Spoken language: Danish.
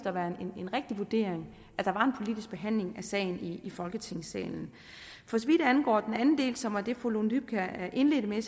at være en rigtig vurdering at der skulle være en politisk behandling af sagen i folketingssalen for så vidt angår den anden del som var det fru lone dybkjær indledte med